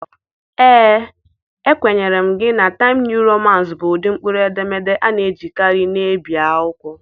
Ee, ekwenyere m gị na Taịmsịị Nịuu Romansị bụ ụdị mkpụrụedemede a na-ejikarị na-ebi akwụkwọ.